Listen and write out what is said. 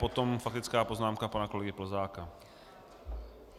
Potom faktická poznámka pana kolegy Plzáka.